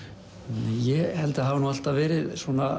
ég held að það hafi alltaf verið